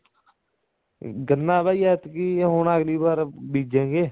ਗੰਨਾ ਬਾਈ ਐਤਕੀ ਹੁਣ ਅਗਲੀ ਵਾਰ ਬੀਜੇੰਗੇ